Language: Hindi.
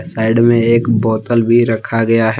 साइड में एक बोतल भी रखा गया है।